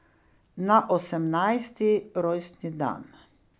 Na osemnajsti rojstni dan.